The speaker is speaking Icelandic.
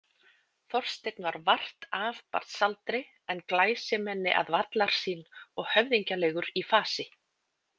Þorsteinn var vart af barnsaldri en glæsimenni að vallarsýn og höfðinglegur í fasi.